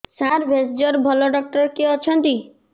ସାର ଭେଷଜର ଭଲ ଡକ୍ଟର କିଏ ଅଛନ୍ତି